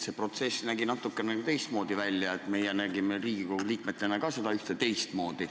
See protsess nägi natukene teistmoodi välja, meie nägime Riigikogu liikmetena ka seda teistmoodi.